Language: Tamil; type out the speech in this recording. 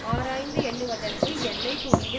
ஆராய்ந்து எண்ணுவதற்கு எல்லை துணிவு